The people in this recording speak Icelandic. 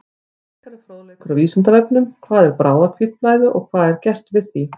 Frekari fróðleikur á Vísindavefnum: Hvað er bráðahvítblæði og hvað er gert við því?